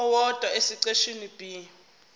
owodwa esiqeshini b